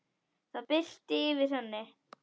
Það birti yfir henni.